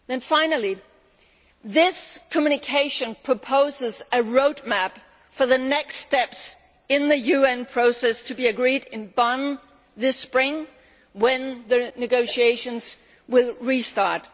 Finally, this communication proposes a road map for the next steps in the UN process, to be agreed in Bonn this spring when the negotiations restart.